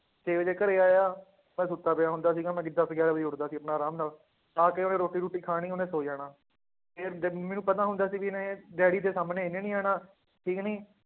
ਛੇ ਵਜੇ ਘਰੇ ਆਇਆ ਮੈਂ ਸੁੱਤਾ ਪਿਆ ਹੁੰਦਾ ਸੀਗਾ ਮੈਂ ਦਸ ਗਿਆਰਾਂ ਵਜੇ ਉੱਠਦਾ ਸੀ ਆਪਣਾ ਆਰਾਮ ਨਾਲ, ਆ ਕੇ ਉਹਨੇ ਰੋਟੀ ਰੂਟੀ ਖਾਣੀ ਉਹਨੇ ਸੌਂ ਜਾਣਾ ਮੈਨੂੰ ਪਤਾ ਹੁੰਦਾ ਸੀ ਵੀ ਇਹਨੇ ਡੈਡੀ ਦੇ ਸਾਹਮਣੇ ਇਹਨੇ ਨੀ ਆਉਣਾ ਠੀਕ ਨੀ